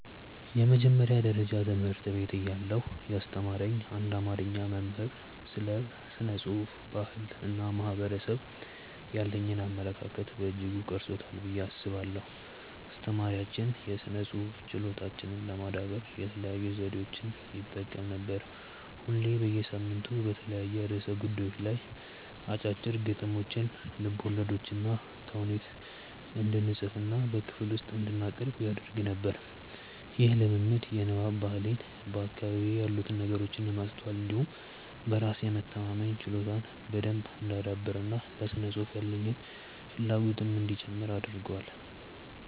የመጀመሪያ ደረጃ ትምህርት ቤት እያለሁ ያስተማረኝ አንድ አማርኛ መምህር ስለ ስነ ጽሁፍ፣ ባህል እና ማህበረሰብ ያሉኝን አመለካከት በእጅጉ ቀርጾታል ብዬ አስባለሁ። አስተማሪያችን የስነ ጽሁፍ ችሎታችንን ለማዳበር የተለያዩ ዘዴዎችን ይጠቀም ነበር። ሁሌ በየሳምንቱ በተለያዩ ርዕሰ ጉዳዮች ላይ አጫጭር ግጥሞችን፣ ልቦለዶችንና ተውኔት እንድንፅፍና በክፍል ውስጥ እንድናቀርብ ያደርግ ነበር። ይህ ልምምድ የንባብ ባህሌን፣ በአካባቢዬ ያሉትን ነገሮች የማስተዋል እንዲሁም በራስ የመተማመን ችሎታዬን በደንብ እንዳዳብር እና ለስነ ጽሁፍ ያለኝን ፍላጎትም እንዲጨምር አድርጓል።